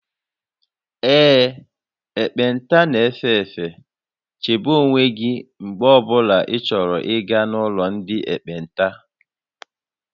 Ee, ekpenta na-efe efe, chebe onwe gị mgbe ọ bụla ịchọrọ ịga n'ụlọ ndị ekpenta